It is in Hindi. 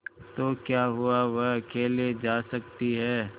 तो क्या हुआवह अकेले जा सकती है